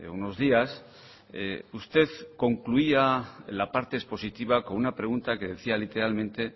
unos días usted concluía la parte expositiva con una pregunta que decía literalmente